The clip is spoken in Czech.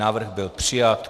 Návrh byl přijat.